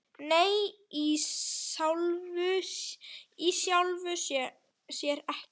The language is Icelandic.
Nei, í sjálfu sér ekki.